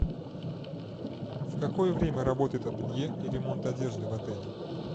в какое время работает ателье и ремонт одежды в отеле